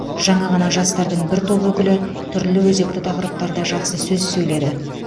жаңа ғана жастардың бір топ өкілі түрлі өзекті тақырыптарда жақсы сөз сөйледі